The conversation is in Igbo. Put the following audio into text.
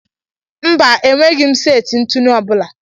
Mba, enweghị m seti ntụnụ ọbụla.